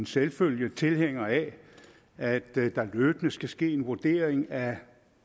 en selvfølge tilhænger af at der løbende skal ske en vurdering af